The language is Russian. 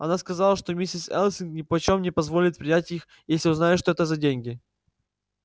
она сказала что миссис элсинг нипочём не позволит принять их если узнает что это за деньги